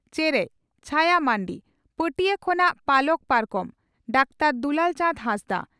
ᱪᱮᱨᱮᱡ (ᱪᱷᱟᱭᱟ ᱢᱟᱱᱰᱤ) ᱯᱟᱹᱴᱭᱟᱹ ᱠᱷᱚᱱᱟᱜ ᱯᱟᱞᱚᱠ ᱯᱟᱨᱠᱚᱢ (ᱰᱟᱠᱛᱟᱨ ᱫᱩᱞᱟᱹᱞ ᱪᱟᱸᱫᱽ ᱦᱮᱸᱥᱫᱟᱜ)